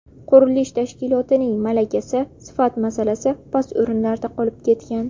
Qurilish tashkilotining malakasi, sifat masalasi past o‘rinlarda qolib ketgan.